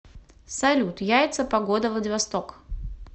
салют яйца погода владивосток